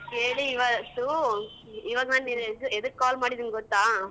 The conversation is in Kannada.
ಕೇಳಿ ಇವತ್ತು ಇವಾಗ ನಾನ್ ಎ ಎದ~ ಎದಕ್ call ಮಾಡಿದಿನ್ ಗೊತ್ತ?